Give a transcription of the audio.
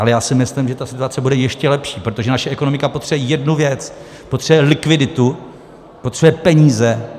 Ale já si myslím, že ta situace bude ještě lepší, protože naše ekonomika potřebuje jednu věc - potřebuje likviditu, potřebuje peníze.